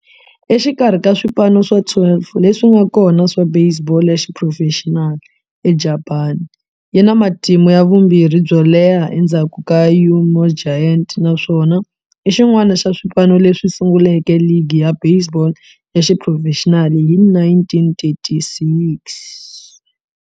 Exikarhi ka swipano swa 12 leswi nga kona swa baseball ya xiphurofexinali eJapani, yi na matimu ya vumbirhi yo leha endzhaku ka Yomiuri Giants, naswona i xin'wana xa swipano leswi sunguleke ligi ya baseball ya xiphurofexinali hi 1936.